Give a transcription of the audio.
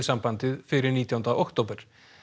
fyrir nítjánda október